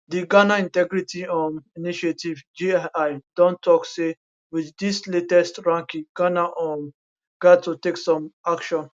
di ghana integrity um initiative gii don tok say wit dis latest ranking ghana um gat to take some action